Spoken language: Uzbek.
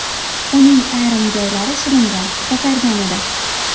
Uning ayrim joylari shilingan, ko‘kargan edi.